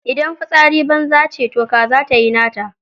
Idan fitsari banza ne toh kaza ma tayi nata.